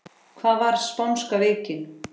Hvað var spánska veikin?